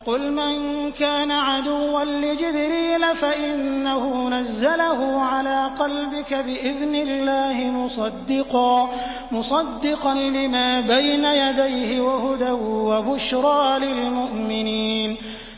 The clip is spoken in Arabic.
قُلْ مَن كَانَ عَدُوًّا لِّجِبْرِيلَ فَإِنَّهُ نَزَّلَهُ عَلَىٰ قَلْبِكَ بِإِذْنِ اللَّهِ مُصَدِّقًا لِّمَا بَيْنَ يَدَيْهِ وَهُدًى وَبُشْرَىٰ لِلْمُؤْمِنِينَ